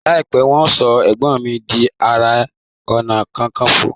láìpé wan so egbon mí dì aré ọnà kankanfo.